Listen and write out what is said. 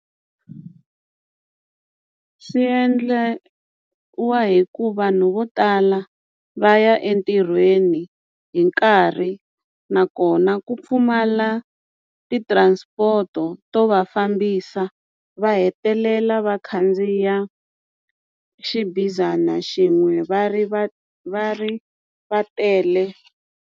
Swi endliwa hi ku vanhu vo tala va ya entirhweni hi nkarhi nakona ku pfumala ti-transport-o to va fambisa va hetelela va khandziya xibazana xin'we va ri va va ri va tele.